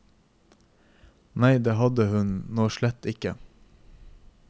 Nei, det hadde hun nå slett ikke.